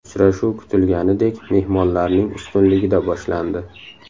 Uchrashuv kutilganidek mehmonlarning ustunligida boshlandi.